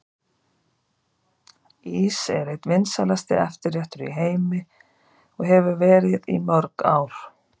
Ís er einn vinsælasti eftirréttur í heimi og hefur verið í mörg ár.